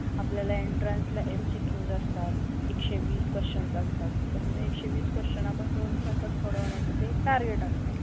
आपल्याला एंट्रान्सेला MCQ असतात, एक शे वीस क्वास्चन असतात, तर एक शे वीस क्वास्चन आपण दोन तासात सोडवड्याच ते टार्गेट असत.